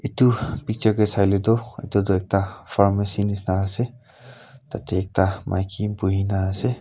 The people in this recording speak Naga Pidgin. itu picture ke saile tu itutu ekta pharmacy nishina ase tatey ekta maiki buhina ase.